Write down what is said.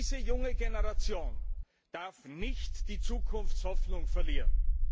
Diese junge Generation darf nicht die Zukunftshoffnung verlieren!